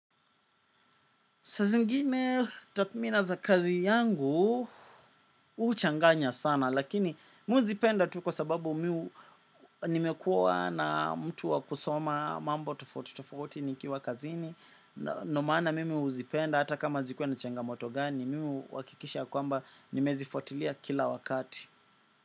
Saazingine takhmina za kazi yangu, huchanganya sana lakini mimi huzipenda tu kwa sababu miu Nimekuwa na mtu wa kusoma mambo tofauti tofauti nikiwa kazini. Ndiyo maana mimi uzipenda hata kama zikiwa na changamoto gani, mimi uhakikisha kwamba nimezifuatilia kila wakati.